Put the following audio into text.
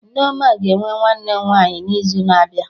Nneoma ga-enwe nwanne nwaanyị n'izu na-abịa abịa